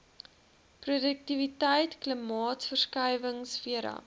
roduktiwiteit klimaatsverskuiwinhg vera